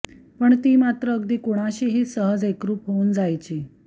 पण ती मात्र अगदी कुणाशीही सहज एकरूप होऊन जायची